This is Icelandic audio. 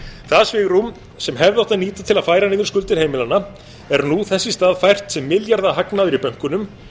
það svigrúm sem hefði átt að nýta til að færa niður skuldir heimilanna er nú þess í stað fært sem milljarðahagnaður í bönkunum